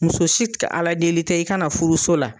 Muso si ka aladeli tɛ i ka na furuso la.